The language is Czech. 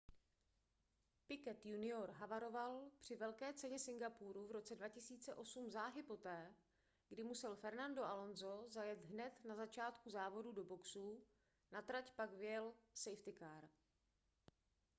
piquet jr havaroval při velké ceně singapuru v roce 2008 záhy poté kdy musel fernando alonso zajet hned na začátku závodů do boxů na trať pak vyjel safety car